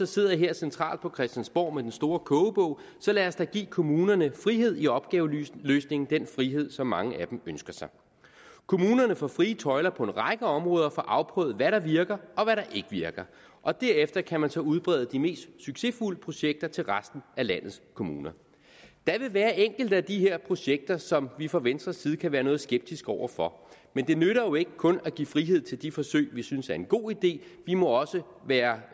sidder her centralt på christiansborg med den store kogebog så lad os da give kommunerne frihed i opgaveløsningen den frihed som mange af dem ønsker sig kommunerne får frie tøjler på en række områder og får afprøvet hvad der virker og hvad der ikke virker og derefter kan man så udbrede de mest succesfulde projekter til resten af landets kommuner der vil være enkelte af de her projekter som vi fra venstres side kan være noget skeptiske over for men det nytter jo ikke kun at give frihed til de forsøg vi synes er en god idé vi må være